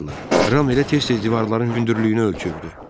Ram elə tez-tez divarların hündürlüyünü ölçürdü.